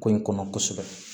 Ko in kɔnɔ kosɛbɛ